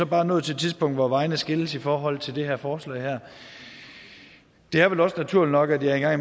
bare nået til et tidspunkt hvor vejene skilles i forhold til det her forslag det er vel også naturligt nok at jeg